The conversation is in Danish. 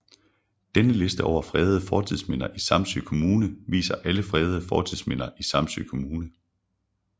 Denne liste over fredede fortidsminder i Samsø Kommune viser alle fredede fortidsminder i Samsø Kommune